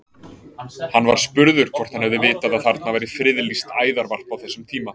Hann var spurður hvort hann hefði vitað að þarna væri friðlýst æðarvarp á þessum tíma?